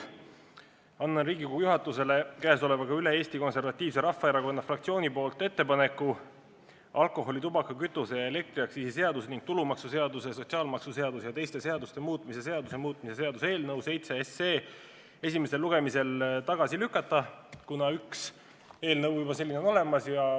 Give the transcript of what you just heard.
Annan Riigikogu juhatusele üle Eesti Konservatiivse Rahavaerakonna fraktsiooni ettepaneku alkoholi-, tubaka-, kütuse- ja elektriaktsiisi seaduse ning tulumaksuseaduse, sotsiaalmaksuseaduse ja teiste seaduste muutmise seaduse muutmise seaduse eelnõu esimesel lugemisel tagasi lükata, kuna üks sellesisuline eelnõu on juba olemas.